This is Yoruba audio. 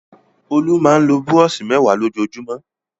Olú máa ń lo búrọ́ṣì mẹ́wàá lójúmọ́?